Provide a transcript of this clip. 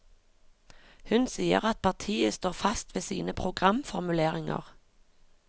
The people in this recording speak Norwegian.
Hun sier at partiet står fast ved sine programformuleringer.